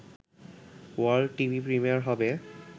world TV premiere হবে